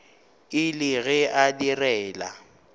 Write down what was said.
e le ge a direla